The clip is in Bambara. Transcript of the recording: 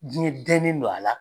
Jɛn dɛnnen don a la